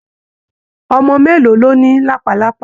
Ọmọ mélòó ló ní làpálàpá?